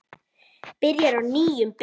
Byrjar á nýjum bikar.